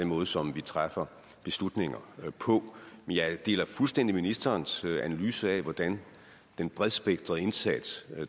måde som vi træffer beslutninger på men jeg deler fuldstændig ministerens analyse af hvordan den bredspektrede indsats